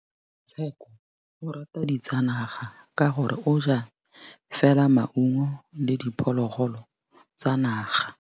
Tshekô o rata ditsanaga ka gore o ja fela maungo le diphologolo tsa naga.